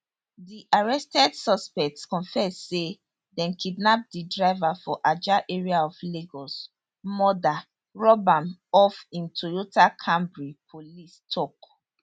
di arrested suspects confess say dem kidnap di driver for ajah area of lagos murder rob am of im toyota camry police tok